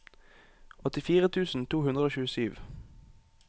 åttifire tusen to hundre og tjuesju